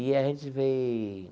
E a gente veio...